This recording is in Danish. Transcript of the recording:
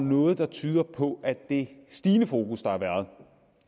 noget der tyder på at det stigende fokus der har været